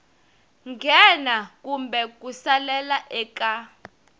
nghena kumbe ku salela eka